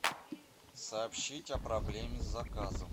сообщить о проблеме с заказом